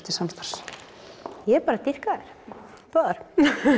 til samstarfs ég bara dýrka þær báðar